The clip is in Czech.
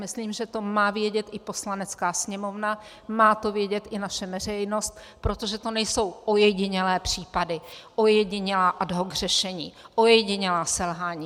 Myslím, že to má vědět i Poslanecká sněmovna, má to vědět i naše veřejnost, protože to nejsou ojedinělé případy, ojedinělá ad hoc řešení, ojedinělá selhání.